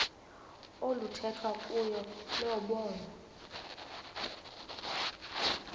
oluthethwa kuyo lobonwa